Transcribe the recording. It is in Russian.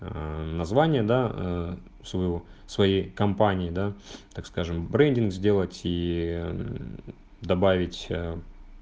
аа название да ээ своего своей компании да так скажем брендинг сделать и мм добавить ээ